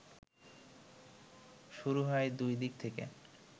শুরু হয় দুই দিক থেকে